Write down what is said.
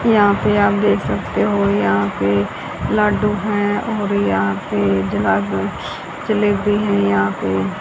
यहां पे आप देख सकते हो यहां पे लड्डू हैं और यहां पे जलेबी हैं यहां पे।